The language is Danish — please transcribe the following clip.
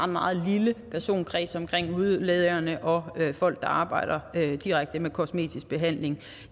meget lille personkreds omkring hudlægerne og folk der arbejder direkte med kosmetisk behandling